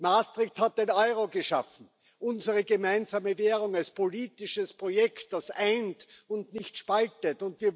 Maastricht hat den Euro geschaffen, unsere gemeinsame Währung als politisches Projekt, das eint und nicht spaltet.